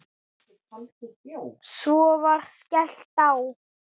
Svo var skellt á.